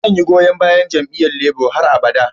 Zan yi goyon bayan jami'yyan Labour har abada.